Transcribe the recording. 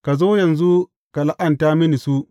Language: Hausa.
Ka zo yanzu ka la’anta mini su.